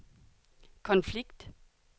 konflikt